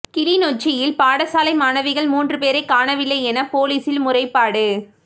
கிளிநொச்சியில் பாடசாலை மாணவிகள் மூன்று பேரை காணவில்லை என போலீசில் முறைப்பாடு